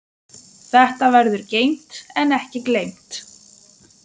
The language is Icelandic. Þetta verður geymt en ekki gleymt.